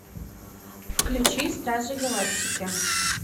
включи стражи галактики